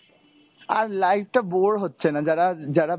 আর life টা bore হচ্ছে না যারা যারা